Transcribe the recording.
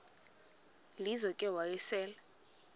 lizo ke wayesel